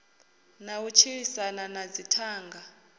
na u tshilisana na dzithanga